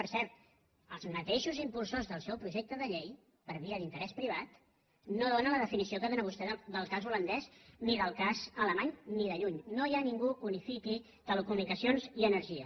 per cert els mateixos impulsors del seu projecte de llei per via d’interès privat no donen la definició que dóna vostè del cas holandès ni del cas alemany ni de lluny no hi ha ningú que unifiqui telecomunicacions i energia